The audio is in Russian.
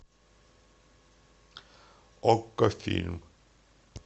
окко фильм